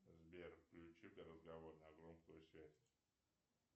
сбер включи ка разговор на громкую связь